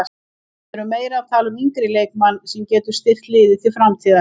Við erum meira að tala um yngri leikmann sem getur styrkt liðið til framtíðar.